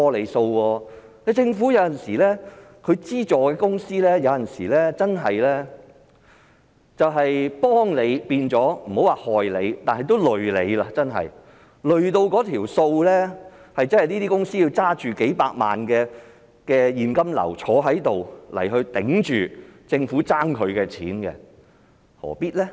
有時候政府資助公司，不能說是"幫你變成害你"，但有時候真的會變成連累你，令那些公司要拿着數百萬元的現金流來抵住政府欠他們的撥款，何必呢？